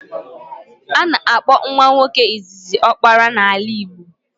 A na-akpọ nwa nwoke izizi ọkpara n'ala Igbo